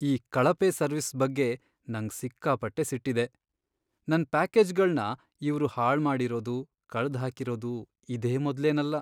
ಈ ಕಳಪೆ ಸರ್ವಿಸ್ ಬಗ್ಗೆ ನಂಗ್ ಸಿಕ್ಕಾಪಟ್ಟೆ ಸಿಟ್ಟಿದೆ, ನನ್ ಪ್ಯಾಕೇಜ್ಗಳ್ನ ಇವ್ರು ಹಾಳ್ಮಾಡಿರೋದು, ಕಳ್ದ್ಹಾಕಿರೋದು ಇದೇ ಮೊದ್ಲೇನಲ್ಲ.